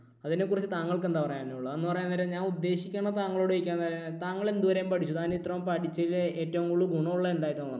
അതിനെക്കുറിച്ച് താങ്കൾക്ക് എന്താണ് പറയാനുള്ളത്? എന്ന് പറയാൻ നേരം ഞാൻ ഉദ്ദേശിക്കുന്നത് താങ്കളോട് ചോദിക്കാൻ താങ്കൾ എന്തു വരെ പഠിച്ചു? താങ്കൾ ഇതുവരെ പഠിച്ചതിൽ ഏറ്റവും കൂടുതൽ ഗുണം ഉള്ളത് എന്തായിട്ടാണ് തോന്നുന്നത്?